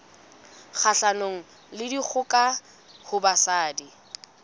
kgahlanong le dikgoka ho basadi